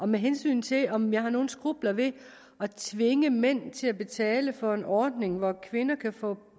med hensyn til om jeg har nogen skrupler ved at tvinge mænd til at betale for en ordning hvor kvinder kan få